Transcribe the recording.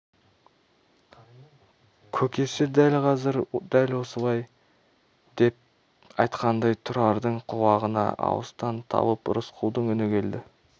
көкесі дәл қазір дәп осылай деп айтқандай тұрардың құлағына алыстан талып рысқұлдың үні келді